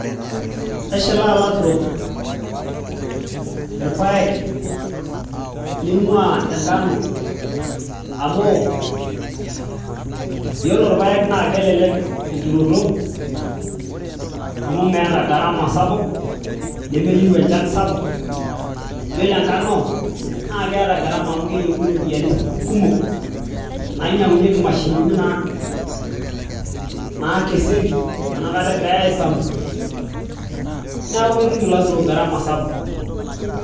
Keshilaa ilaturok irpaek ning'uaa enkano amu yiolo irpaek naa kelelek enturoto amu meeta garama sapuk nemeyieu enchan sapuk yiolo enkano naa keeta garama amu keyieuni iropiyiani kumok nainyiang'unyieki imashinini naakesieki enakata egirai aisambu neeku ketum ilaturok garama sapuk.